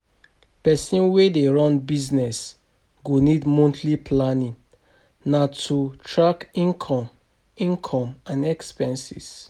Pesin wey dey run business go need monthly planning na to track income income and expenses.